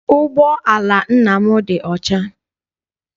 Ụgbọala nna m dị ọcha.